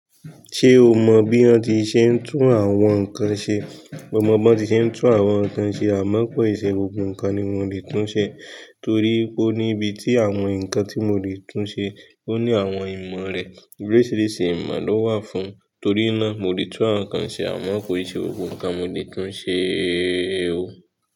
Ṣé o mọ bí wọ́n ti ṣe ń tún àwọn nǹkan ṣe? Mo mọ bí wọ́n ti ṣe ń tún àwọn nǹkan ṣe àmọ́ kò ì ṣe gbogbo nǹkan ni mo lè tún ṣe torí pé ó ní ibi tí àwọn nǹkan tí mo lè tún ṣe, ó ní àwọn ìmọ̀ rẹ̀, oríṣìíríṣìí ìmọ̀ ló wà fún un torí náà mo lè tún nǹkan ṣe àmọ́ kò ì ṣe gbogbo nǹkan mo lè tún ṣe o.